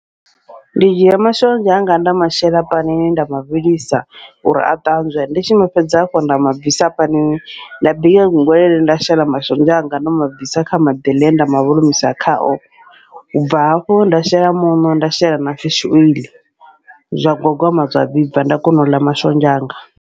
Ndi dzhia mashonzha anga nda mashela panini nda mavhilisa, uri a ṱanzwe ndi tshi mafhedza hafho nda mabvisa panini, nda bika gwegwelele nda shela mashonzha anga nda mabvisi kha maḓi eḽa ende mavholomisa khao, ubva hafho nda shela muṋo nda shela na fishi oiḽi zwa gwagwama zwa vhibva nda kona uḽa mashonzha anga.